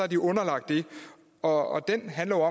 de underlagt det og den handler